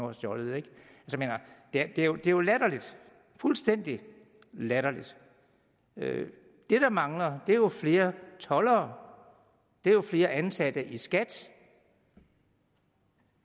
har stjålet det er jo latterligt fuldstændig latterligt det der mangler er jo flere toldere det er jo flere ansatte i skat